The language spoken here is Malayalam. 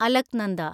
അലക്നന്ദ